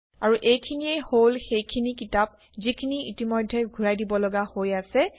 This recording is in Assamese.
আৰু এইখিনিয়েই হল সেইখিনি কিতাপ যিখিনি ইতিমধ্যে ঘূৰাই দিবলগা হৈ আছে